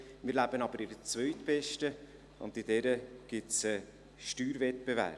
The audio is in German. Wir leben aber in der zweitbesten, und in dieser gibt es einen Steuerwettbewerb.